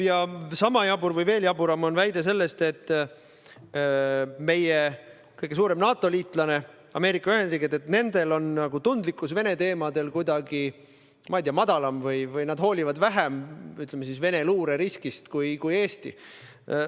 Ja sama jabur või veelgi jaburam on väide selle kohta, et meie kõige suurema NATO-liitlase, Ameerika Ühendriikide tundlikkus Vene teemadel on kuidagi, ma ei tea, madalam või et nad hoolivad Vene luureriskist vähem kui Eesti.